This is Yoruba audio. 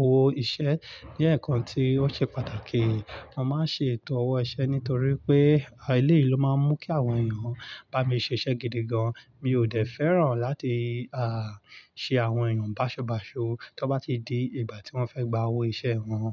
owó iṣẹ́ jẹ́ ǹkan tí ó ṣe pàtàkì. Mo máa ń ṣe ètò ọ̀wọ́ iṣẹ́ nítorí pé eléyìí ló máa ń mú kí àwọn èèyàn bá mi ṣe iṣẹ́ gidi gan. Mi ò dẹ́ fẹ́ràn láti, à, ṣe àwọn èèyàn báṣubàṣu tó bá ti di ìgbà tí wọ́n fẹ́ gba owó iṣẹ́ wọn.